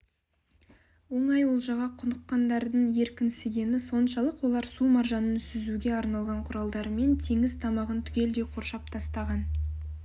оңай олжаға құныққандардың еркінсігені соншалық олар су маржанын сүзуге арналған құралдарымен теңіз тамағын түгелдей қоршап тастаған